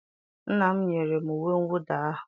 nna m nyere m uwe mwụda ahụ